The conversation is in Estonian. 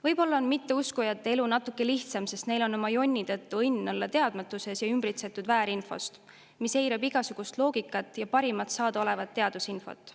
Võib-olla on mitteuskujate elu natuke lihtsam, sest neil on oma jonni tõttu õnn olla teadmatuses, olles ümbritsetud väärinfost, mis eirab igasugust loogikat ja parimat saadaolevat teadusinfot.